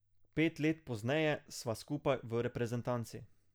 Pet let pozneje sva skupaj v reprezentanci.